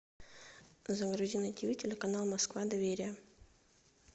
загрузи на тиви телеканал москва доверие